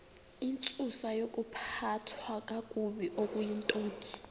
intsusayokuphathwa kakabi okuyintoni